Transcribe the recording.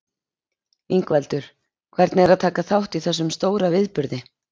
Ingveldur: Hvernig er að taka þátt í þessum stóra viðburði?